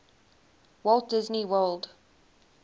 walt disney world